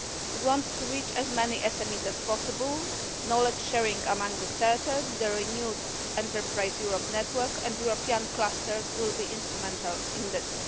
We want to reach as many SMEs as possible. Knowledge sharing among the Centre, the renewed Enterprise Europe Network and European clusters will be instrumental in this.